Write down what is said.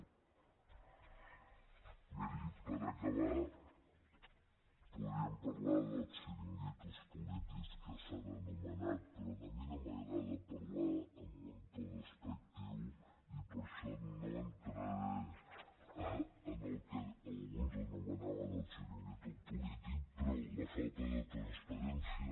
miri per acabar podríem parlar dels xiringuitos polítics que s’han anomenat però a mi no m’agrada parlar en un to despectiu i per això no entraré en el que alguns anomenaven el xiringuito polític però la falta de transparència